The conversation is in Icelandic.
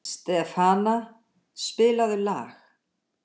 Stefana, spilaðu lag.